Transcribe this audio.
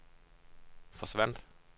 forsvandt